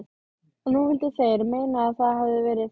Og nú vildu þeir meina að það hefðu verið